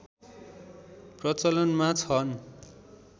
प्रचलनमा छन्